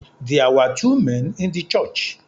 There were two men in the church